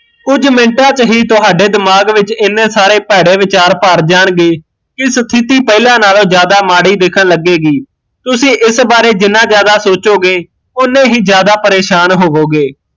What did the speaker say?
ਕੁਜ ਮਿੰਟਾਂ ਚ ਹੀਂ ਤੁਹਾਡੇ ਦਿਮਾਗ ਵਿੱਚ ਇਨੇ ਸਾਰੇ ਭੈੜੇ ਵਿਚਾਰ ਭਰ ਜਾਣਗੇ, ਕੀ ਸਥਿਤੀ ਪਹਿਲਾਂ ਨਾਲੋਂ ਮਾੜੀ ਦਿੱਖਣ ਲੱਗੇਗੀ, ਤੁਸੀਂ ਇਸ ਬਾਰੇ ਜਿੰਨਾ ਜਿਆਦਾ ਸੋਚੋਗੇ ਓਨੇ ਹੀਂ ਜਿਆਦਾ ਪਰੇਸ਼ਾਨ ਹੋਵੋਗੇ